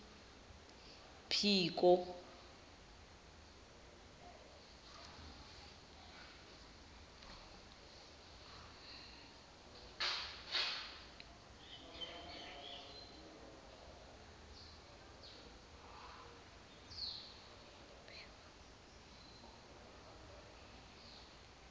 phiko